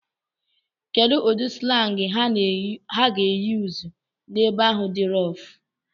Kedu ụdị slang ha ga-eyuzu n'ebe ahụ dị roff?